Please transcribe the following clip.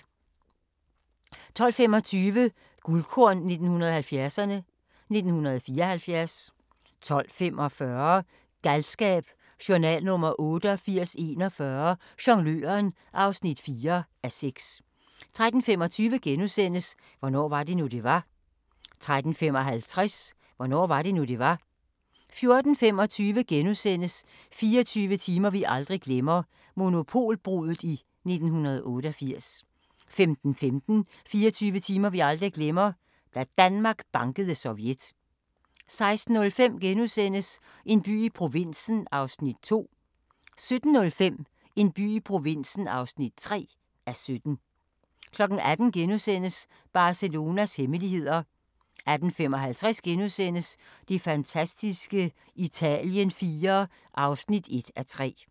12:25: Guldkorn 1970'erne: 1974 12:45: Galskab: Journal nr. 8841 - Jongløren (4:6) 13:25: Hvornår var det nu, det var? * 13:55: Hvornår var det nu, det var? 14:25: 24 timer vi aldrig glemmer – Monopolbruddet i 1988 * 15:15: 24 timer vi aldrig glemmer – da Danmark bankede Sovjet 16:05: En by i provinsen (2:17)* 17:05: En by i provinsen (3:17) 18:00: Barcelonas hemmeligheder * 18:55: Det fantastiske Italien IV (1:3)*